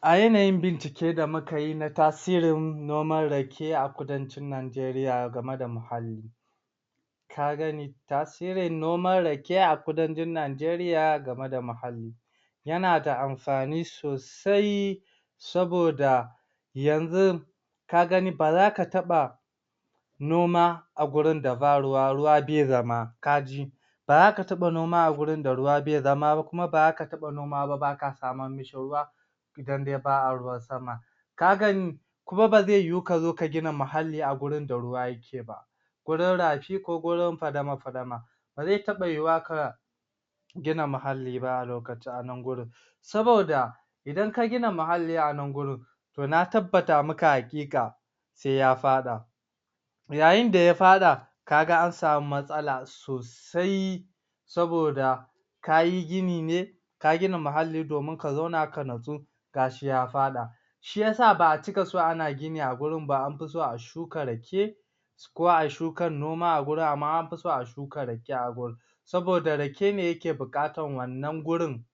A yanayin bincike da mukayi na tasirin noman Rake a kudancin Najeriya game da muhalli ka gani tasirin noman Rake a kudancin najeriya game da muhalli yana da amfani sosai saboda yanzin ba zaka taɓa noma a gurin da ba ruwa, ruwa bai zama kaji baza ka taɓa noma a gurin da ruwa bai zama ba kuma ba zaka taɓa noma ba baka samammishi ruwa idan dai ba a ruwan sama kan gani kuma ba zaiyu kazo ka gina muhalli a gurin da ruwa yake ba gurun rafi ko gurun fadama-fadama bazai taba yuwuwa ka gina muhalli ba a lokaci a nan gurun saboda idan ka gina muhalli a nan gurun to na tabbata maka haƙiƙa sai ya faɗa yayin da ya faɗa kaga an samu matsala sosai saboda kayi gini ne ka gina muhalli domin ka zauna ka nutsu gashi ya faɗa shiyasa ba a cika so a na gini a gurun ba amfi so a shuka Rake ko ai shukan noma a gurin amma anfiso a shuka rake a gurin saboda Rake ne yake buƙatan wannan gurun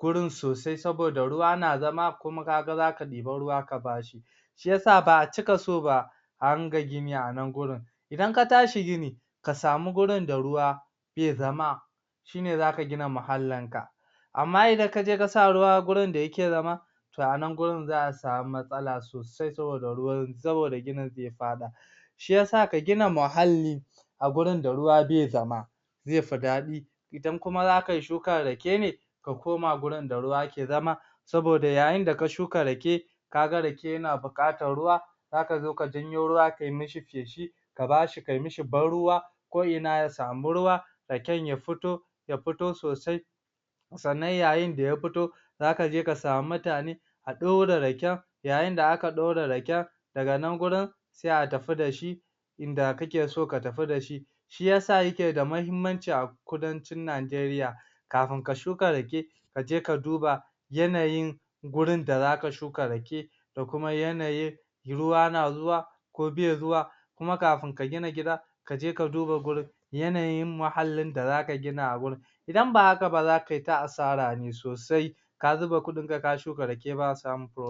gurun sosai saboda ruwa na zama kuma kaga zaka ɗibu ruwa ka bashi shiyasa ba a cika so ba a runga gini a nan gurun idan ka tashi gini ka sami gurun da ruwa bai zama shine zaka gina muhallin ka amma idan kaji kasa ruwa gurin da yake zama to a nan gurun za’a samu matsala sosai saboda ruwan saboda ginin zai faɗa shiyasa ka gina muhalli a gurun da ruwa bai zama zai fu daɗi idan kuma zakai shukar Rake ne ka koma gurun da ruwa ke zama saboda yayin da ka shuka Rake kaga Rake yana buƙatar ruwa zaka zo ka janyo ruwa kai mishi feshi, ka bashi kai mishi ban ruwa ko ina ya samo ruwa Raken ya futo ya futo sosai sannan yayin da ya futo zaka je ka samu mutane a ɗaura Raken yayin da aka ɗaure Rakin daga nan gurun sai a tafi da shi inda kake so ka tafi da shi shiyasa yake da mahimman ce a kudancin Najeriya kafin ka shuka Rake kaji ka duba yanayin gurin da zaka shuka Rake da kuma yanayin ruwa na zuwa ko bai zuwa kuma kafin ka gina gida kaje ka duba gurun yanayin muhallin da zaka gina a wurin idan ba haka ba zakai ta asara ne sosai ka zuba kudin ka, ka shuka rake da samun komai